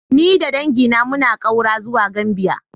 Ni da dangina muna ƙaura zuwa Gambia.